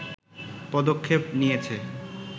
পদক্ষেপ নিয়েছে